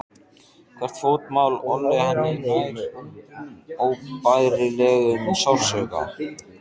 Hvert fótmál olli henni nærri óbærilegum sársauka.